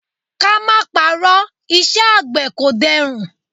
Ka má parọ́, iṣẹ́ àgbẹ̀ kò dẹrùn.